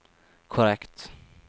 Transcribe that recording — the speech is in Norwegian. korrekt